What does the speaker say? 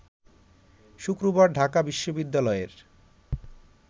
শুক্রবার ঢাকা বিশ্ববিদ্যালয়ের